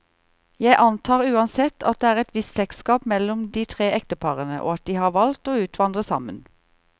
Jeg antar uansett, at det er et visst slektskap mellom de tre ekteparene, og at de har valgt å utvandre sammen.